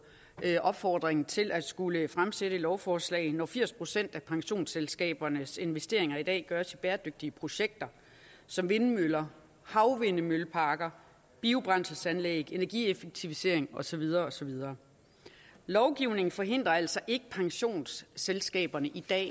en opfordring til at skulle fremsætte et lovforslag når firs procent af pensionsselskabernes investeringer i dag gøres i bæredygtige projekter som vindmøller havvindmølleparker biobrændselsanlæg energieffektivisering og så videre og så videre lovgivningen forhindrer altså ikke pensionsselskaberne i at